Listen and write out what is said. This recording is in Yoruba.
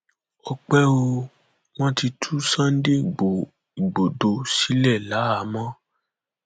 ọpẹ o wọn ti tú sunday igbodò sílẹ láhàámọ